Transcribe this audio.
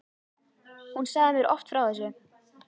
Hún sagði mér oft frá þessu.